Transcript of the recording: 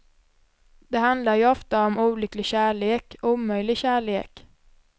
Det handlar ju ofta om olycklig kärlek, omöjlig kärlek.